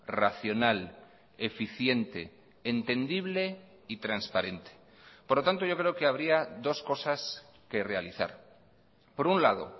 racional eficiente entendible y transparente por lo tanto yo creo que habría dos cosas que realizar por un lado